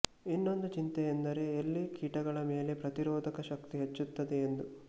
ಇನ್ನೊಂದು ಚಿಂತೆ ಎಂದರೆ ಎಲ್ಲಿ ಕೀಟ ಗಳ ಮೇಲೆ ಪ್ರತಿರೊಧಶಕ್ತಿ ಹೆಚ್ಚುತ್ತದೋ ಎಂದು